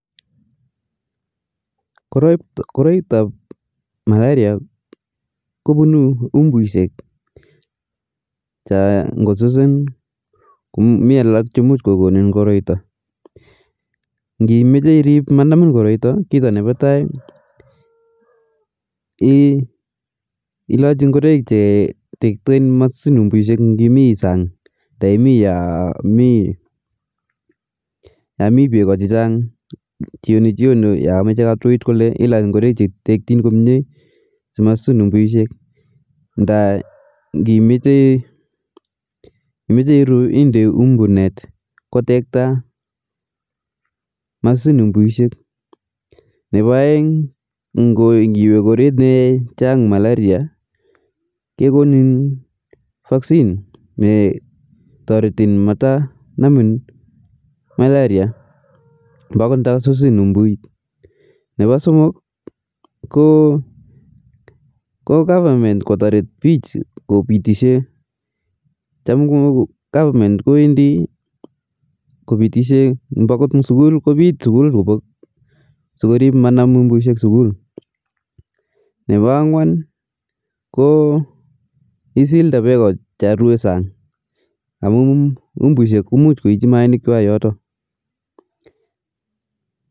Koroitap malaria kopunu umbushek cho ngosusin ko mii alak cho muj kokonin koroito ,ngimeche irip manamin koroito kita ne pa tai ilachi ngoroik che tekten masusin umbushek ng'imii sang nda imii yo mii beko chechang' jioni jioni ya meche kotuit kole ilach ngoroik che tektin komye si masusin umbushek nda ngimeche iruu inde umbu net kotekta masusin umbushek ,nepa aeng ngiwe koret ne chang malaria kekonin vaccine ne toriti mata namin malaria mbakot nda susin umbuit, nepa somok ko goverment kotorit pich kopitishe cha ko goverment kowendi kopitishe mbakot in sukul kopit sukul kobok so korip manam umbushek sukul ,nepa angwan ko isilde beko cha rue sang amu umbushek ko muj koichi maainik kwai yoto